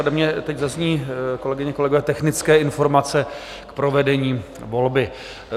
Ode mě teď zazní, kolegyně, kolegové, technické informace k provedení volby.